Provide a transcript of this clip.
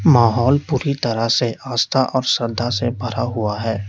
माहौल पूरी तरह से आस्था और श्रद्धा से भरा हुआ है।